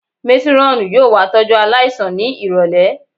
Métírọ́ọ̀nù yóò wá tọ́jú aláìsàn ní ìrọ̀lẹ̀